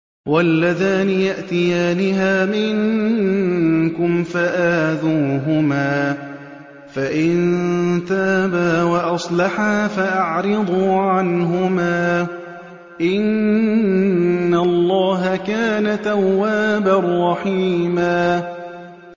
وَاللَّذَانِ يَأْتِيَانِهَا مِنكُمْ فَآذُوهُمَا ۖ فَإِن تَابَا وَأَصْلَحَا فَأَعْرِضُوا عَنْهُمَا ۗ إِنَّ اللَّهَ كَانَ تَوَّابًا رَّحِيمًا